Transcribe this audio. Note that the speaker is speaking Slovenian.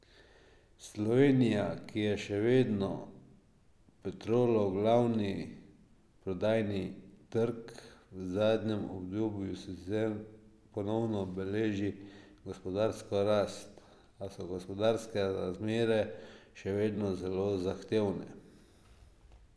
Slovenija, ki je še vedno Petrolov glavni prodajni trg, v zadnjem obdobju sicer ponovno beleži gospodarsko rast, a so gospodarske razmere še vedno zelo zahtevne.